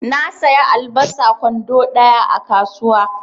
Na saya albasa kwando ɗaya a kasuwa.